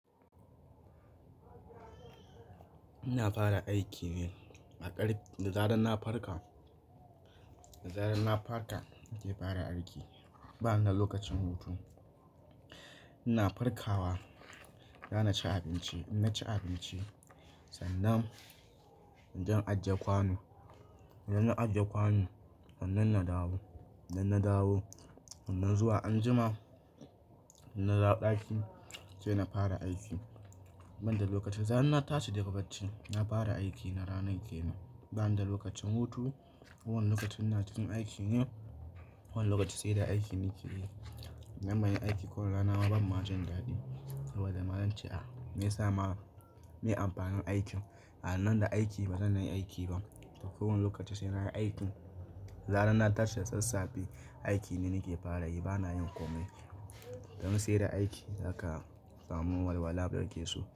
Ina fara aiki ne a ƙar da zarar na farka, da zarar na farka nake fara aiki bana da lokacin hutu. Ina farkawa zan ci abinci, idan na ci abinci sannan zan ajiye kwanu, idan na ajiye kwanu sannan na dawo, idan na dawo nan zuwa anjima idan na dawo ɗaki sai na fara aiki. Bana da lokaci, da zarar na tashi daga bacci na fara aiki na ranan ke ne. Bana da lokacin hutu, kowane lokaci ina cikin aiki ne, kowane lokaci sai da aiki nake yi. Manyan aiki kowane rana ban ma jin daɗi, saboda ma'ana ce me ya sa ma me amfanin aiki. A nan da aiki ba zan nayi aiki ba, to kowane lokaci sai na yi aiki. Da zarar na tashi da sassafe aiki ne nake fara yi bana yin komai. Don sai da aiki zaka samu walwala da kake so.